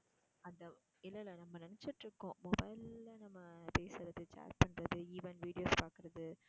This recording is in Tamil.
அந்த இல்ல இல்ல நம்ம நினச்சுக்கிட்டு இருக்கோம் mobile ல நம்ம பேசுறது chat பண்றது even videos பாக்குறது